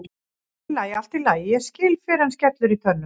Allt í lagi, allt í lagi, ég skil fyrr en skellur í tönnum.